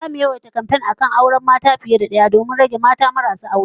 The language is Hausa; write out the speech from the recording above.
Zamu yawaita kamfen ga al'ummah akan rika auren mata fiye da daya saboda rage yawan mata marasa aure